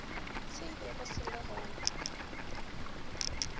se bego se le gona